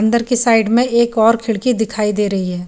अन्दर की साइड में एक और खिड़की दिखाई दे रही है।